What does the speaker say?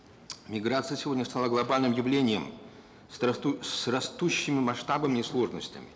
миграция сегодня стала глобальным явлением с растущими масштабами и сложностями